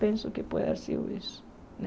Penso que pode ser isso, né?